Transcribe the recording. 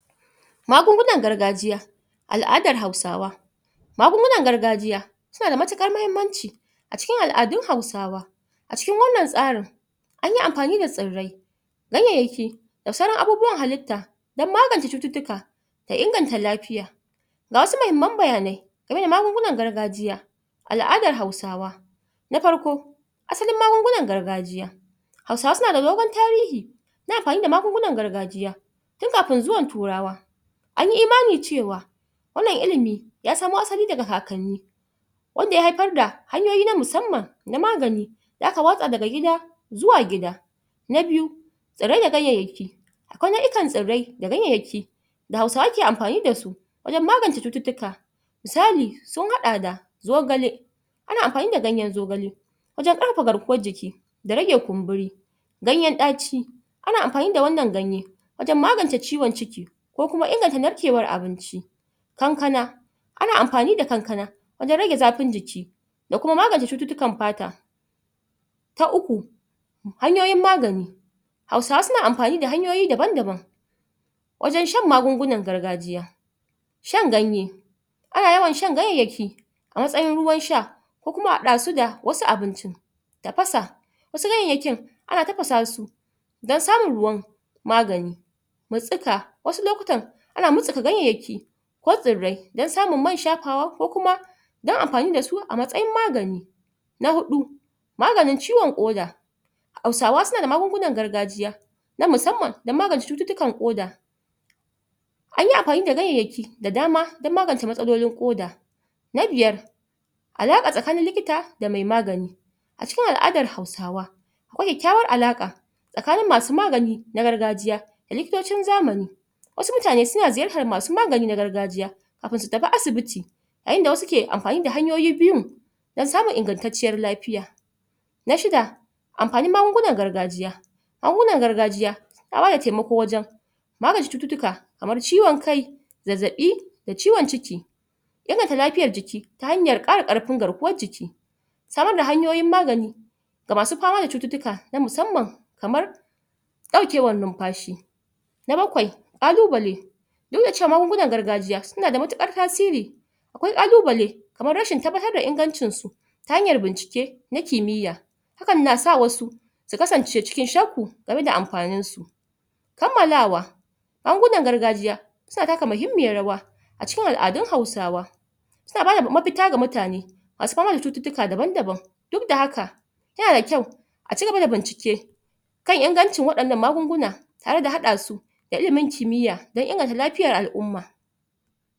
Magungunan gargajiya al'adar hausawa magungunan gargajiya suna da matuƙar mahimmanci a cikin al'adun hausawa a cikin wannan tsarin anyi amfani da tsirrai ganyayyaki da sauran abubuwan halitta don magance cututtuka da inganta lafiya ga wasu mahimman bayanai game da magungunan gargajiya al'adar hausawa na farko asalin magungunan gargajiya hausawa suna da dogon tarihi na amfani da magungunan gargajiya tun kafin zuwan turawa an yi imani cewa wannan ilimi ya samo asali daga kakanni wanda ya haifar da hanyoyi na musamman na magani da aka watsa daga gida' zuwa gida na biyu tsirrai da ganyayyaki ko nau'ikan tsirrai da ganyayyaki da hausawa ke amfani da su wajen magance cututtuka misali sun haɗa da zogale ana amfani da ganyen zogale wajen ƙarfafa garkuwan jiki da rage kumburi ganyen ɗaci ana amfani da wannan ganye wajen magance ciwon ciki ko kuma inganta narkewan abinci kankana ana amfani da kankana wajen rage zafin jiki da kuma magance cututtukan fata ta uku hanyoyin magani hausawa suna amfani da hanyoyi daban-daban wajen shan maganin gargajiya shan ganye ana yawan shan ganyayyaki a mastayin ruwan sha ko kuma a haɗa su da wasu abincin tafasa wasu ganyayyakin ana tafasa su don samun ruwan magani mutstsuka wasu lokutan ana mutstsuka ganyayyaki ko tsirrai don samun man shafawa ko kuma don amfani da su a matsayin magani na huɗu maganin ciwon ƙoda hausawa suna da magungunan gargajiya na musamman don magance cututtukan ƙoda an yi amfani da ganyayyaki da dama don magance matsaloli ƙoda na biyar alaƙa tsaknin likita da mai magani a cikin al'adar hausawa akwai kyakkyawar alaƙa tsakanin masu magani na gargajiya da likitocin zamani wasu mutane suna ziyartar masu magani na gargajiya kafin su tafi asibiti a yayin da wasu ke amfani da hanyoyi biyun don samun ingantacciyar lafiya na shida amfanin magungunan gargajiya magungunan gargajiya na bada taimakowajen magance cututtuka kamar ciwon kai zazzaɓi da ciwon ciki inganta lafiyar jiki ta hanyar ƙara ƙarfin garkuwar jiki samar da hanyoyin magani ga masu fama da cututtuka na musamman kamar ɗaukewar numfashi na bakwai ƙalubale duk da cewa magungunan gargajiya suna da matuƙar tasiri akwai ƙalubale kamar rashin tabbatar da ingancin su ta hanyar bincike na kimiya hakan na sa wasu su kasance cikin shakku game da amfanin su kammalawa magungunan gargajiya suna taka muhimmiyan rawa a cikin al'adun hausawa suna bada mafita ga mutane masu fama da cututtuka daban-daban duk da haka yana da kyau a cigaba da bincike kan ingancin waɗannan magunguna tare da haɗa su da ilimin kimiya don inganta lafiyar al'umma.